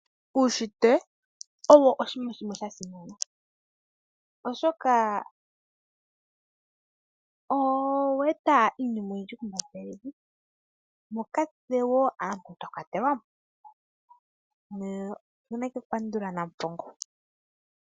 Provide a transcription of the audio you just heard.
Uunshitwe owo oshinima shimwe sha simana, oshoka oweeta iinima oyindji kombanda yevi, moka natse aantu twa kwatelwamo. Otuna oku pandula nampongo.